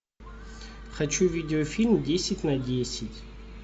хочу видеофильм десять на десять